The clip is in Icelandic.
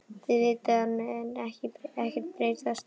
Þið vitið að það mun ekkert breytast.